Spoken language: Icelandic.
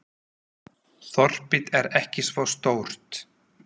Þorpið er ekki svo stórt.